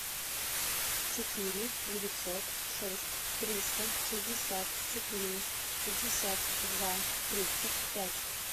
четыре девятьсот шесть триста шестьдесят четыре шестьдесят два тридцать пять